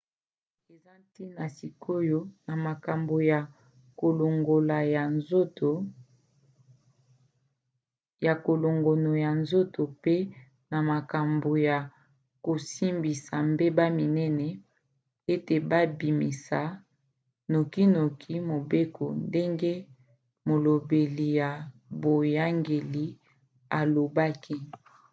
eza ntina sikoyo na makambo ya kolongono ya nzoto mpe na makambo ya kosambisa mbeba minene ete babimisa nokinoki mobeko ndenge molobeli ya boyangeli alobaki